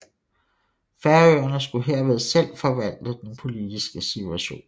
Færøerne skulle herved selv forvalte den politiske situation